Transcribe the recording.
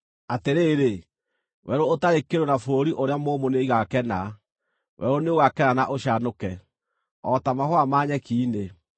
Atĩrĩ, werũ ũtarĩ kĩndũ na bũrũri ũrĩa mũũmũ nĩigakena; werũ nĩũgakena na ũcanũke. O ta mahũa ma nyeki-inĩ,